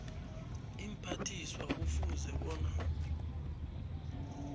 iimphathiswa kufuze bona